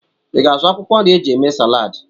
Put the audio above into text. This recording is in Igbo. I ga-azụ akwụkwọ nri e ji eme Salad?